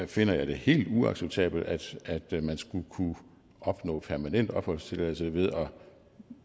finder jeg det helt uacceptabelt at man skulle kunne opnå permanent opholdstilladelse ved at